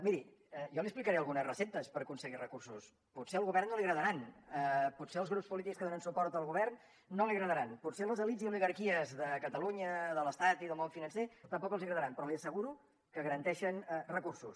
miri jo li explicaré algunes receptes per aconseguir recursos potser al govern no li agradaran potser als grups polítics que donen suport al govern no li agradaran potser a les elits i oligarquies de catalunya de l’estat i del món financer tampoc els agradaran però li asseguro que garanteixen recursos